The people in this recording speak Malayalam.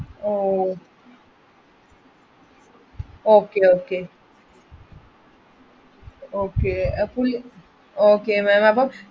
Okay okay അപ്പൊ okay ma'am അപ്പൊ